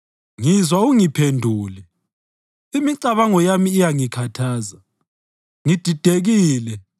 ngizwa ungiphendule. Imicabango yami iyangikhathaza, ngididekile